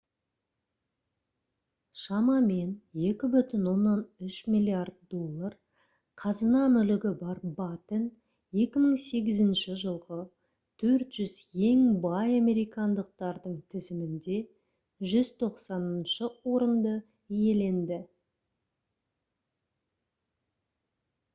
шамамен 2,3 миллиард доллар қазына-мүлігі бар баттен 2008 жылғы 400 ең бай американдықтардың тізімінде 190-шы орынды иеленді